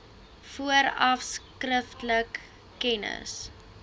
vooraf skriftelik kennis